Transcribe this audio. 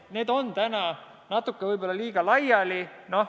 Praegu on need põhimõtted võib-olla natuke liiga laiali.